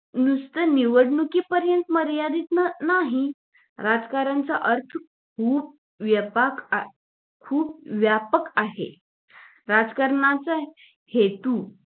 नुसतं निवडणुकी पर्यंत मर्यादित नाही राजकारण चा अर्थ खूप व्यापक खुप व्यापक आहे राजकारणाचा हेतू